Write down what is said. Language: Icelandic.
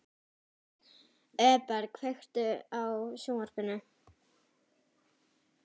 Eberg, kveiktu á sjónvarpinu.